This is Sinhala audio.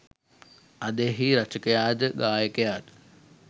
අද එහි රචකයා ද ගායකයා ද